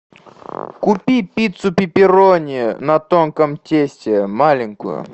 купи пиццу пепперони на тонком тесте маленькую